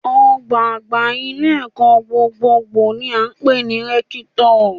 Ọ̀gbá àgbà ilé-ẹ̀kọ́ gbogbonìṣe ni à ń pè ní rẹ́kítọ̀